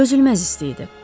Dözülməz isti idi.